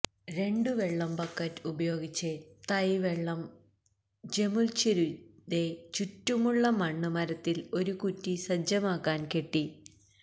രണ്ടു വെള്ളം ബക്കറ്റ് ഉപയോഗിച്ച് തൈ വെള്ളം ജമുല്ഛിരുയ്തെ ചുറ്റുമുള്ള മണ്ണ് മരത്തിന്റെ ഒരു കുറ്റി സജ്ജമാക്കാൻ കെട്ടി